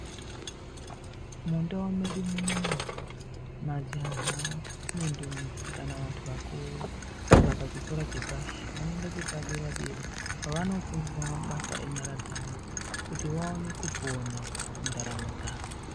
Mundau mwedu munomu, majaha nendombi kana kuti vantu vakuru, kana vabva pachikora chepashi, vanoenda chepadera-dera kwavofundiswa mabasa enyara dzavo, kuti vaone kupona mundaramo dzavo.